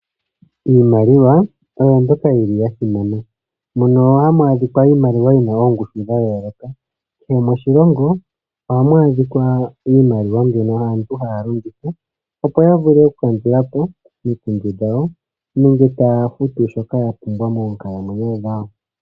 Iimaliwa oyo mbyoka yili ya simana, mono hamu adhi kwa iimaliwa yina oongushu dha yooloka. Kehe moshilongo ohamu adhika iimaliwa mbyono aantu haya longitha opo yavule oku kandulapo omikundu dhawo nenge taya futu shoka yapumbwa moonkalamwenyo dhawo.